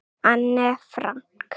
Anne Frank.